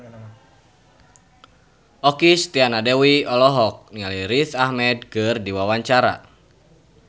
Okky Setiana Dewi olohok ningali Riz Ahmed keur diwawancara